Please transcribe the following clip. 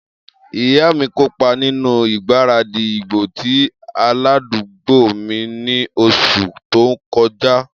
Iya mi kopa ninu igbaradi igbo ti aladugbo mi ni oṣu to kọja.